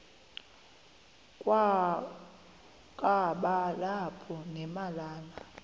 kwakaba lapha nemalana